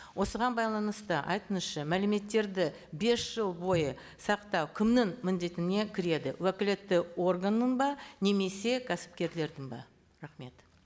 осыған байланысты айтыңызшы мәліметтерді бес жыл бойы сақтау кімнің міндетіне кіреді уәкілетті органның ба немесе кәсіпкерлердің бе рахмет